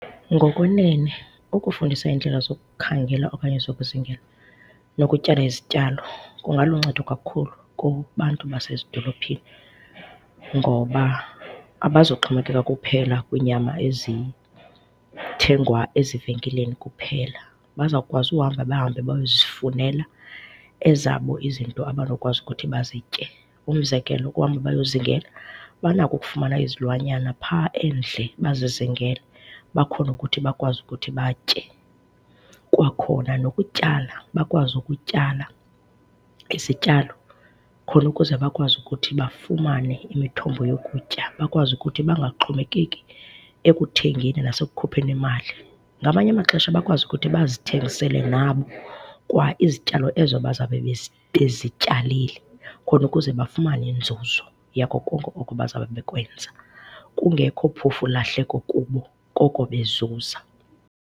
Ngokwenene, ukufundisa indlela zokukhangela okanye zokuzingela nokutyala izityalo kungaluncedo kakhulu kubantu basezidophini ngoba abazuxhomekeka kuphela kwinyama ezithengwa ezivenkileni kuphela. Bazawukwazi uhamba bahambe bayozifunela ezabo izinto abanokwazi ukuthi bazitye. Umzekelo, ukuhamba bayozingela, banako ukufumana izilwanyana phaa endle bazizingele, bakhone ukuthi bakwazi ukuthi batye. Kwakhona nokutyala, bakwazi ukutyala izityalo khona ukuze bakwazi ukuthi bafumane imithombo yokutya, bakwazi ukuthi bangaxhomekeki ekuthengeni nasekukhupheni imali. Ngamanye amaxesha bakwazi ukuthi bazithengisele nabo kwa izityalo ezo bazawube bezityalile khona ukuze bafumane inzuzo yako konke oko bazawube bekwenza. Kungekho phofu lahleko kubo koko bezuza.